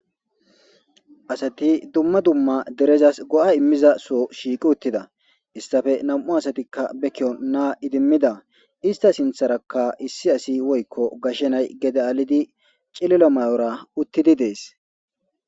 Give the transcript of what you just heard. Asati dumma dumma derezassi go'a immiza Soo shiqqi uttida isitappe nam''u asatikka naa idimidda isita sinththerakka issi asi woyikko gashshe nayi